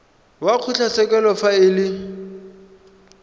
wa kgotlatshekelo fa e le